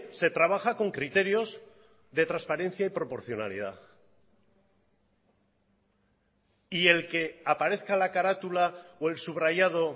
se trabaja con criterios de transparencia y proporcionalidad y el que aparezca la carátula o el subrayado